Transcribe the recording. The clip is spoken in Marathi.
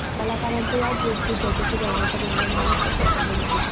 कलाकारांच्या या ट्वीटची चौकशी करण्याचा निर्णय महाराष्ट्र सरकारने घेतला आहे